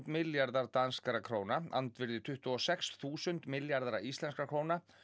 milljarðar danskra króna andvirði tuttugu og sex þúsund milljarða íslenskra króna